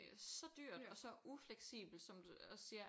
Så dyrt og så ufleksibelt som du også siger